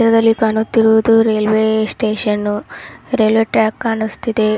ಇಲ್ಲಿ ಕಾಣುತ್ತಿರುವುದು railway station railway track ಕಾಣಿಸ್ತಿದೆ.